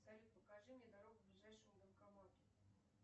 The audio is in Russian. салют покажи мне дорогу к ближайшему банкомату